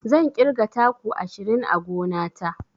Zan ƙirga taku ashirin a gona ta.